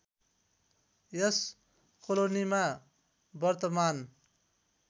यस कोलोनीमा वर्तमान